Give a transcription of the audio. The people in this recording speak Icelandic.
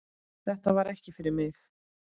Þetta var ekki fyrir mig